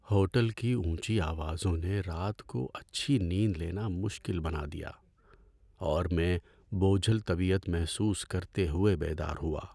Hotel کی اونچی آوازوں نے رات کو اچھی نیند لینا مشکل بنا دیا، اور میں بوجھل طبیعت محسوس کرتے ہوئے بیدار ہوا۔